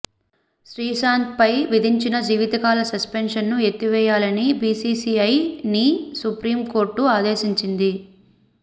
శ్రీశాంత్పై విధించిన జీవితకాల సస్పెన్షన్ను ఎత్తివేయాలని బీసీసీఐని సుప్రీం కోర్టు ఆదేశించింది